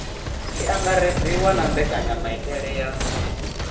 tshi angaredziwa na mbekanyamaitele ya